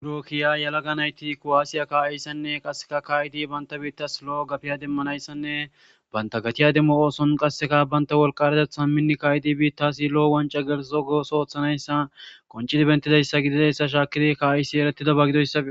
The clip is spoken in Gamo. Durokkiya yalaga nayti kowaasiya ka7ayssanne qasseka kaayidi banta biittas lo'o gafiya demmanayssanne banta gatiya demmo ooson qasseka banta wolqaretetha minni kayidi biittasi lo'o wanca gerzogos ooththanayssa qonci dibentidayssa gidida essa shaakiri ka'aysi eretida bagidoyssafi